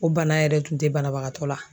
O bana yɛrɛ tun tɛ banabagatɔ la!